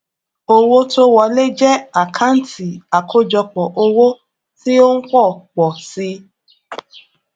owó tó wọlé jẹ àkántì àkọjọpọ owó tí ó ń pọ pọ si